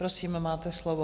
Prosím, máte slovo.